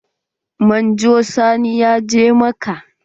Manjo Sani ya je Makka.